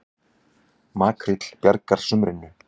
Makríll bjargar sumrinu